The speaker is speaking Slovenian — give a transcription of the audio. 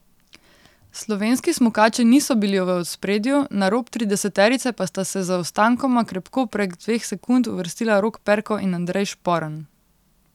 Slovenski smukači niso bili v ospredju, na rob trideseterice pa sta se z zaostankoma krepko prek dveh sekund, uvrstila Rok Perko in Andrej Šporn.